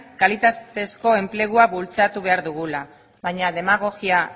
kalitatezko enplegua bultzatu behar dugula baina demagogia